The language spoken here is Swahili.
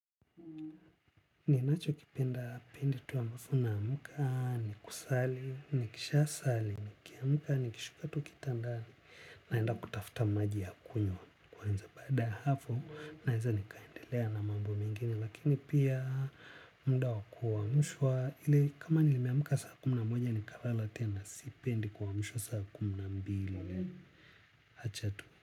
Ninachokipenda pindi tu ambapo naamka, ni kusali, nikisha sali, nikiamka, nikishuka tu kitandani. Naenda kutafuta maji ya kunywa kwanza baada ya hapo naweza nikaendelea na mambo mengine. Lakini pia muda wa kuamshwa ili kama nilimemka saa kumi na moja nikalala tena sipendi kuamshwa saa kumi na mbili. Acha tu.